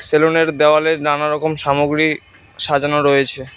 Salon -এর দেওয়ালে নানারকম সামগ্রী সাজানো রয়েছে।